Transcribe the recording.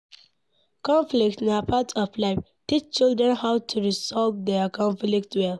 Conflict na part of life, teach children how to resolve their conflict well